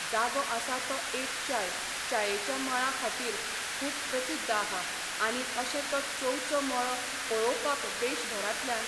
जागो आसा तो एक चाय, चायेच्या मळां खातीर खूब प्रसिद्ध आहा आनी अशे वो चावेचो मळो पळोवपाक देश भरांतल्यान